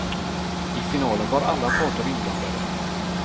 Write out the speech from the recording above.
I finalen var alla parter inblandade.